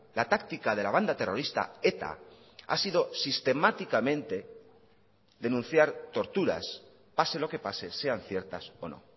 la táctica de la banda terrorista eta ha sido sistemáticamente denunciar torturas pase lo que pase sean ciertas o no